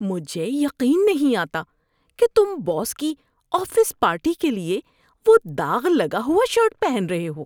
مجھے یقین نہیں آتا کہ تم باس کی آفس پارٹی کے لیے وہ داغ لگا ہوا شرٹ پہن رہے ہو۔